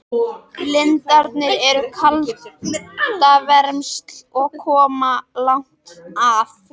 Lindirnar eru kaldavermsl og koma langt að.